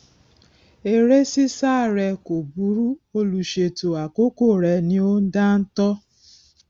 eré ṣíṣá re kò burú olùṣètò àkókò rẹ ni ò dáńtọ